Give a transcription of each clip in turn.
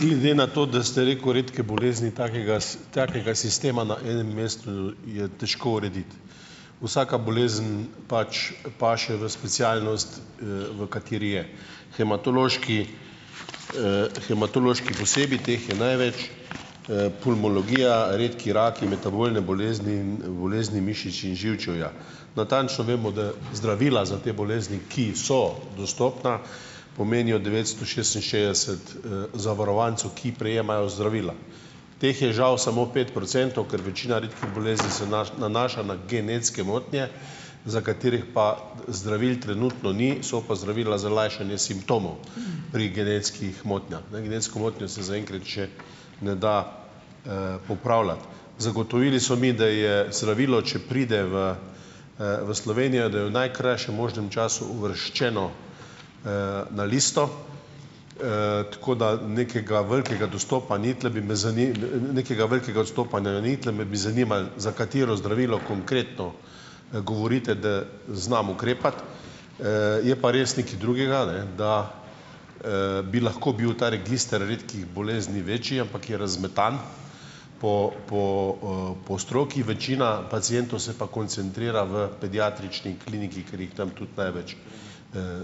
Glede na to, da ste rekel redke bolezni, takega takega sistema na enem mestu, je težko urediti. Vsaka bolezen pač paše v specialnost, v kateri je. Hematoloških, hematoloških posebej, teh je največ, pulmologija, redki raki, metabolne bolezni in bolezni mišic in živčevja. Natančno vemo, da zdravila za te bolezni, ki so dostopna, pomenijo devetsto šestinšestdeset, zavarovancev, ki prejemajo zdravila. Teh je žal samo pet procentov, ker večina redkih bolezni se nanaša na genetske motnje, za katerih pa zdravil trenutno ni, so pa zdravila za lajšanje simptomov pri genetskih motnjah. Ne, genetsko motnjo se zaenkrat še ne da, popravljati. Zagotovili so mi, da je zdravilo, če pride v, v Slovenijo, da je v najkrajšem možnem času uvrščeno, na listo. Tako da nekega velikega dostopa ni, tule bi me nekega velikega odstopanja ni. Tule me bi zanimalo, za katero zdravilo konkretno, govorite, da znam ukrepati,. Je pa res nekaj drugega, ne, da, bi lahko bil ta register redkih bolezni večji, ampak je razmetano po po, po stroki. Večina pacientov se pa koncentrira v pediatrični kliniki, ker jih tam tudi največ,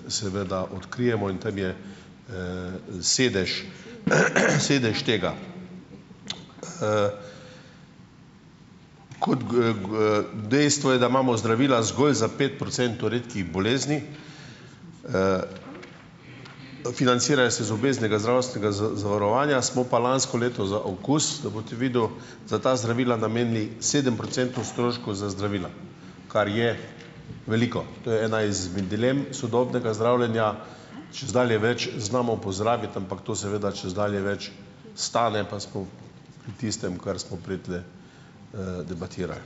seveda odkrijemo in tam je, sedež sedež tega. Dejstvo je, da imamo zdravila zgolj za pet procentov redkih bolezni. Financirajo se iz obveznega zdravstvenega zavarovanja. Smo pa lansko leto za okus, da boste videl, za ta zdravila namenili sedem procentov stroškov za zdravila, kar je veliko. To je ena izmed dilem sodobnega zdravljenja. Čezdalje več znamo pozdraviti, ampak to seveda čezdalje več stane, pa smo pri tistem, kar smo prej tule, debatirali.